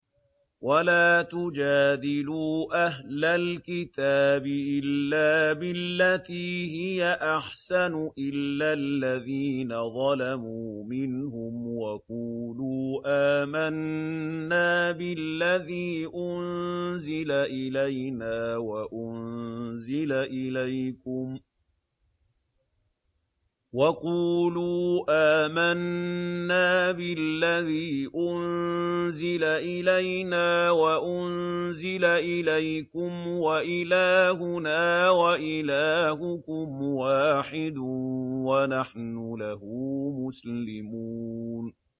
۞ وَلَا تُجَادِلُوا أَهْلَ الْكِتَابِ إِلَّا بِالَّتِي هِيَ أَحْسَنُ إِلَّا الَّذِينَ ظَلَمُوا مِنْهُمْ ۖ وَقُولُوا آمَنَّا بِالَّذِي أُنزِلَ إِلَيْنَا وَأُنزِلَ إِلَيْكُمْ وَإِلَٰهُنَا وَإِلَٰهُكُمْ وَاحِدٌ وَنَحْنُ لَهُ مُسْلِمُونَ